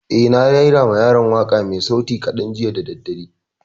Eh, na rera ma yaran waƙa mai sauti kaɗan jiya da daddare